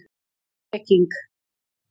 Peking